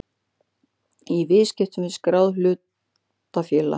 í viðskiptum við skráð hlutafélag.